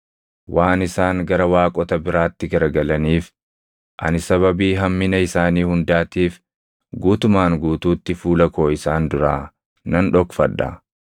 Waan isaan gara waaqota biraatti garagalaniif ani sababii hammina isaanii hundaatiif guutumaan guutuutti fuula koo isaan duraa nan dhokfadha.